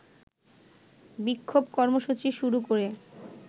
বিক্ষোভ কর্মসূচি শুরু করে